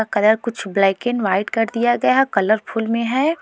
Colour कुछ black and white कर दिया गया कलरफूल में हैं।